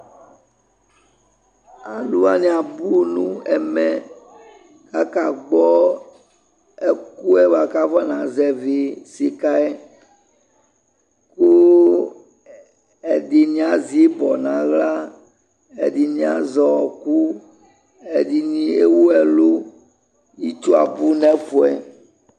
aluwani abu nɛ ɛvɛ ka ka gbo ɛkʋɛ kʋ aƒɔana zɛvi sika kʋ ɛdini azi ibɔ nʋ ala ɛdini azɛ ɔkʋ ɛdini ɛwʋ ɛlʋ itsʋ abʋ nɛ fuɛ